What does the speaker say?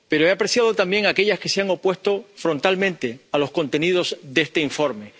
Pero he apreciado también aquellas que se han opuesto frontalmente a los contenidos de este informe.